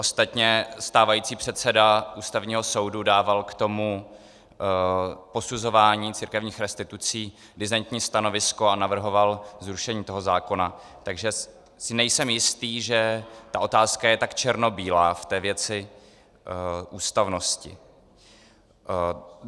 Ostatně stávající předseda Ústavního soudu dával k tomu posuzování církevních restitucí disentní stanovisko a navrhoval zrušení toho zákona, takže si nejsem jistý, že ta otázka je tak černobílá v té věci ústavnosti.